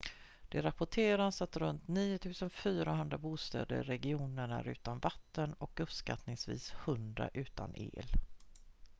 det rapporteras att runt 9 400 bostäder i regionen är utan vatten och uppskattningsvis 100 utan el